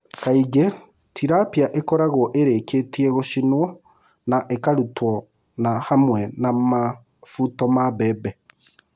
Kaingĩ tilapia ĩkoragwo ĩrĩkĩtie gũcinwo na ĩkarutwo hamwe na mũbuto wa mbembe.